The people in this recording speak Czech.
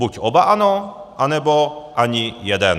Buď oba ano, anebo ani jeden.